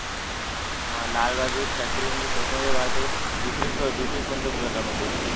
हा लालबहादूर शास्त्री म्हणजे स्वतंत्र भारताचे दुसरे दुसरे पंतप्रधान होते